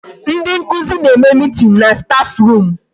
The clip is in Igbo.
Ndị nkụzi na-eme meeting na staff room.